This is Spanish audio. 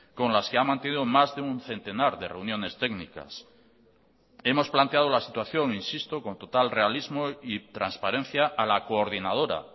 con las que ha mantenido más de un centenar de reuniones técnicas hemos planteado la situación insisto con total realismo y transparencia a la coordinadora